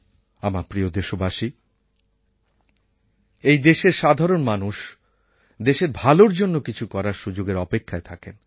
আমার প্রিয় দেশবাসী এই দেশের সাধারণ মানুষ দেশের ভালোর জন্য কিছু করার সুযোগের অপেক্ষায় থাকেন